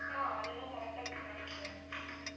ஆஹ் அதெல்லாம் correct ஆ குடுத்தாங்க sir